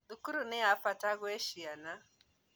Thukuru nĩ yabata kwĩ ciana